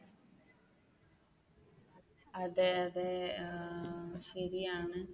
അതെ അതെ ഏർ ശരിയാണ്.